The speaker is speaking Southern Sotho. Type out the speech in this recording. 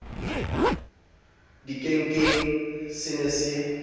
le dikenkeng se ne se